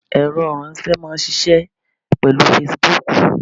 Ẹ̀rọ ìránsé máa n ṣiṣẹ́ pèlú Fesibuúkù